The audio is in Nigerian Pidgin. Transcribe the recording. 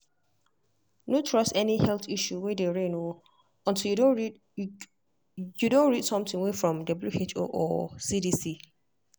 no trust any health issue way dey reign o untill you don read you don read something way from who or cdc.